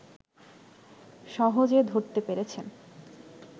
সহজে ধরতে পেরেছেন